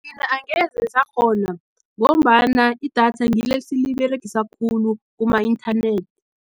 Thina angeze sakghona, ngombana idatha ngile esiliberegisa khulu, kuma inthanethi.